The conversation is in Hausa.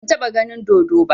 Ban taɓa ganin dodo ba